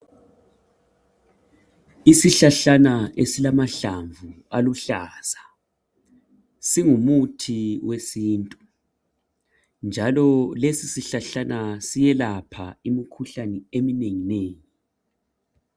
Isihlahlana esilamahlamvu aluhlaza singumuthi wesintu njalo lesi sihlahlana siyelapha imikhuhlane eminenginengi.